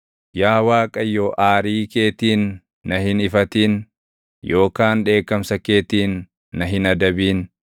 Yaa Waaqayyo aarii keetiin na hin hifatin; yookaan dheekkamsa keetiin na hin adabin.